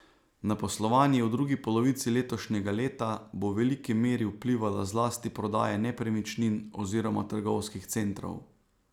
Na poslovanje v drugi polovici letošnjega leta bo v veliki meri vplivala zlasti prodaja nepremičnin oziroma trgovskih centrov.